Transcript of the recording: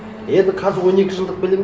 енді қазір он екі жылдық білім